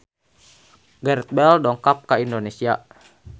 Gareth Bale dongkap ka Indonesia